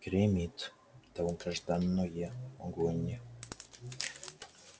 гремит долгожданное огонь